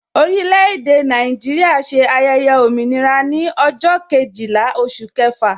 Orile-ede Naijiria ṣe ayẹyẹ òmìnira ní ọjọ́ Kejìlá oṣù kẹfà